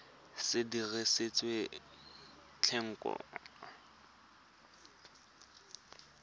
se dirisitswe thekontle ya tlhapi